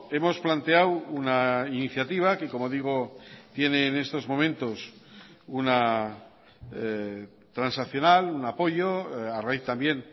hemos planteado una iniciativa que como digo tiene en estos momentos una transaccional un apoyo a raíz también